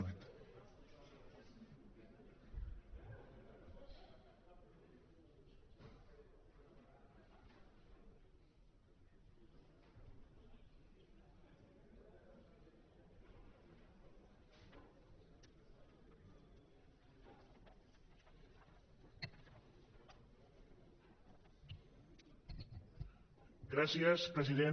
gràcies president